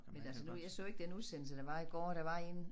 Men altså nu jeg så ikke den udsendelse der var i går der var en